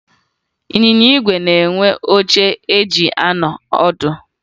Ịnyịnya ígwè na-enwe oche eji anọ ọdụ